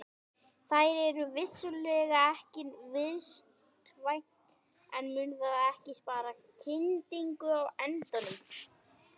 Það er vissulega ekki vistvænt en mun það ekki spara kyndingu á endanum?